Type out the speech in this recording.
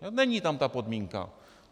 Není tam ta podmínka.